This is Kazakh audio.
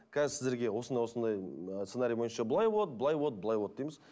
қазір сіздерге осындай осындай сценарий бойынша былай болады былай болады былай болады дейміз